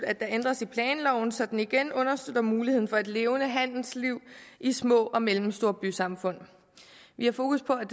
at der ændres i planloven så den igen understøtter muligheden for et levende handelsliv i små og mellemstore bysamfund vi har fokus på at